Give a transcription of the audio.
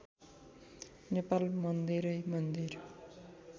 नेपाल मन्दिरै मन्दिर